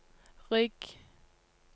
rygg